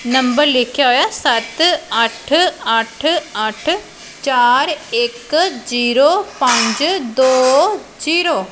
Number ਲਿੱਖਿਆ ਹੋਇਆ ਸੱਤ ਅੱਠ ਅੱਠ ਅੱਠ ਚਾਰ ਇੱਕ ਜ਼ੀਰੋ ਪੰਜ ਦੋ ਜ਼ੀਰੋ ।